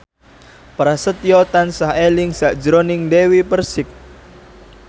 Prasetyo tansah eling sakjroning Dewi Persik